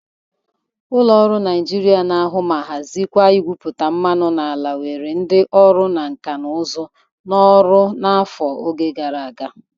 Ụlọ ọrụ Nịajịrịa na-ahụ ma hazịkwa igwupụta mmanụ n'ala were ndị ọrụ nka na ụzụ n'ọrụ n'afọ gara aga.